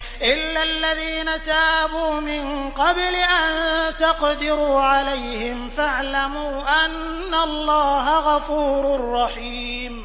إِلَّا الَّذِينَ تَابُوا مِن قَبْلِ أَن تَقْدِرُوا عَلَيْهِمْ ۖ فَاعْلَمُوا أَنَّ اللَّهَ غَفُورٌ رَّحِيمٌ